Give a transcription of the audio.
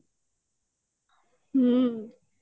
ହୁଁ